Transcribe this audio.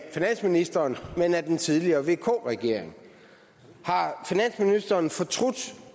af finansministeren men af den tidligere vk regering har finansministeren fortrudt